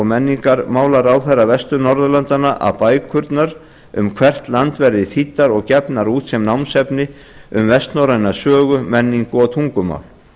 menningarmálaráðherra vestur norðurlandanna að bækurnar um hvert land verði þýddar og gefnar út sem námsefni um vestnorræna sögu menningu og tungumál